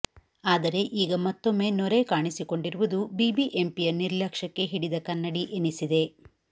ಆದರೆ ಈಗ ಮತ್ತೊಮ್ಮೆ ನೊರೆ ಕಾಣಿಸಿಕೊಂಡಿರುವುದು ಬಿಬಿಎಂಪಿಯ ನಿರ್ಲಕ್ಷ್ಯಕ್ಕೆ ಹಿಡಿದ ಕನ್ನಡಿ ಎನ್ನಿಸಿದೆ